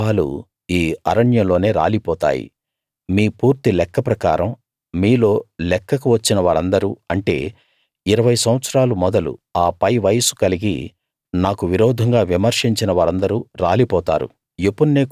మీ శవాలు ఈ అరణ్యంలోనే రాలిపోతాయి మీ పూర్తి లెక్క ప్రకారం మీలో లెక్కకు వచ్చిన వారందరూ అంటే ఇరవై సంవత్సరాలు మొదలు ఆ పైవయస్సు కలిగి నాకు విరోధంగా విమర్శించిన వారిందరూ రాలిపోతారు